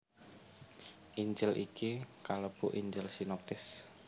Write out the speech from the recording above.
Injil iki kalebu Injil sinoptis